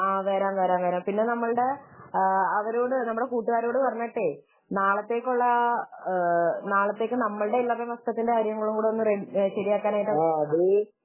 ആഹ് വരാം വരാം പിന്നെ നമ്മുടെ അവരോട് കൂട്ടുകാരോടൊക്കെ പറഞ്ഞിട്ട് നാളെത്തേക്കുള്ള നാളത്തേക്ക് നമ്മളുടെ എന്തെങ്കിലും ശരിയാക്കാനായിട്ട്